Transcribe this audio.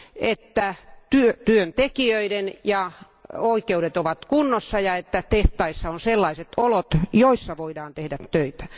että työntekijöiden oikeudet ovat kunnossa ja että tehtaissa on sellaiset olot, joissa voidaan tehdä töitä.